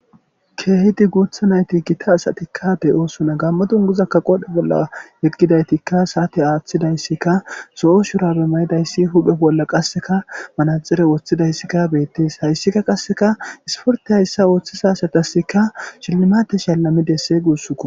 keehidi guutha nayti gita asatikka de7osuna gammodun guzakka qodhe bolla yeqgidaytikka saati aaththidayssika so7o shurabe mayidayssi huphe bolla qasseka manaxire woththidayssikka beettees hayssikka qasseka isporte hayssa ooththisa asatasikka shillmate shallami desse guussuko